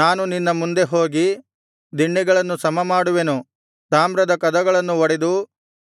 ನಾನು ನಿನ್ನ ಮುಂದೆ ಹೋಗಿ ದಿಣ್ಣೆಗಳನ್ನು ಸಮಮಾಡುವೆನು ತಾಮ್ರದ ಕದಗಳನ್ನು ಒಡೆದು